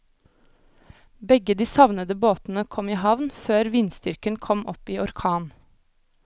Begge de savnede båtene kom i havn før vindstyrken kom opp i orkan.